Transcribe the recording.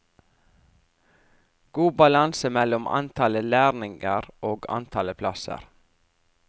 God balanse mellom antallet lærlinger og antallet plasser.